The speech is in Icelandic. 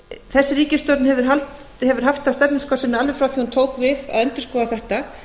þessi ríkisstjórn hefur haft það á stefnuskrá sinni alveg frá því hún tók við að endurskoða þetta